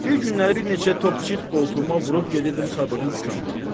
Bir günləri bir neçə top çit qoltuğuma vurub gedirdim Sadığın dükanından.